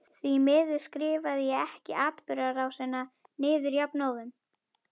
Því miður skrifaði ég ekki atburðarásina niður jafnóðum.